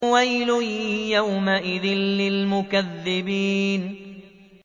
وَيْلٌ يَوْمَئِذٍ لِّلْمُكَذِّبِينَ